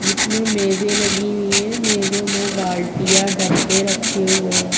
इसमें मेजे लगी हुई है मेंज़ो में बाल्टियां डब्बे रखे हुए है।